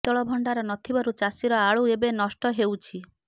ଶୀତଳ ଭଣ୍ଡାର ନଥିବାରୁ ଚାଷୀର ଆଳୁ ଏବେ ନଷ୍ଟ ହେଉଛି